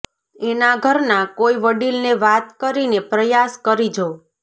એના ઘરના કોઈ વડીલને વાત કરીને પ્રયાસ કરી જો